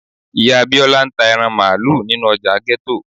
ìyá Bíọ́lá ń ta ẹran Máálú nínú ọjà ghetto.